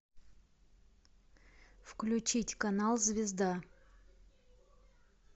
включить канал звезда